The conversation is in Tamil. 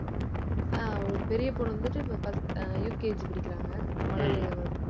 ஆஹ் ஒரு பெரிய பொண்ணு வந்துட்டு, இப்போ first அஹ் UKG படிக்கிறாங்க, மழலை வகுப்பு